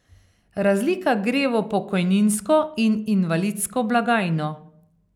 Razlika gre v pokojninsko in invalidsko blagajno.